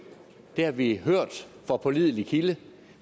det har vi hørt fra pålidelig kilde og